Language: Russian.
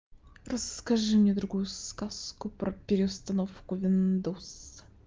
расскажи мне другую сказку про переустановку виндовс